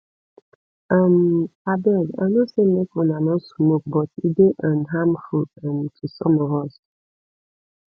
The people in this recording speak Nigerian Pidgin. um abeg i no say make una no smoke but e dey um harmful um to some of us